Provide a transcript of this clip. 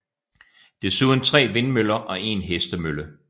Desuden 3 vindmøller og 1 hestemølle